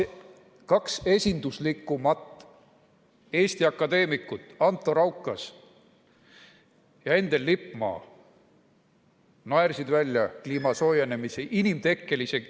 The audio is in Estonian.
Kaks esinduslikumat Eesti akadeemikut, Anto Raukas ja Endel Lippmaa, naersid välja kliima soojenemise, inimtekkelise ...